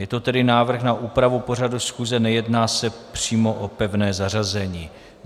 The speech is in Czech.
Je to tedy návrh na úpravu pořadu schůze, nejedná se přímo o pevné zařazení.